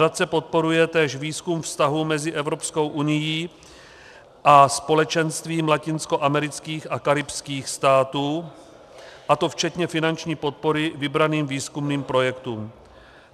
Nadace podporuje též výzkum vztahů mezi Evropskou unií a Společenstvím latinskoamerických a karibských států, a to včetně finanční podpory vybraným výzkumným projektům.